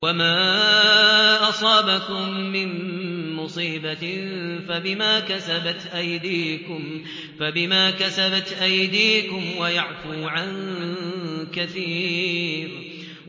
وَمَا أَصَابَكُم مِّن مُّصِيبَةٍ فَبِمَا كَسَبَتْ أَيْدِيكُمْ وَيَعْفُو عَن كَثِيرٍ